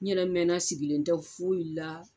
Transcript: N yɛrɛ mɛna sigilen n tɛ foyi la